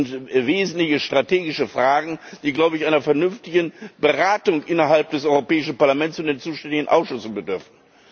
Das sind wesentliche strategische Fragen, die, glaube ich, einer vernünftigen Beratung innerhalb des Europäischen Parlaments und in den zuständigen Ausschüssen bedürfen.